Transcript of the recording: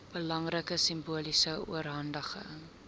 belangrike simboliese oorhandiging